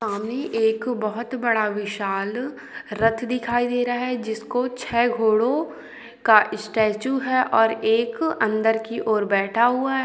पानी एक बहुत बड़ा विशाल रथ दिखाई दे रहा है जिसको छह घोड़ों का स्टैचू है और एक अंदर की ओर बैठा हुआ हैं।